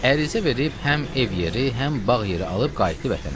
Ərizə verib həm ev yeri, həm bağ yeri alıb qayıtdı vətənə.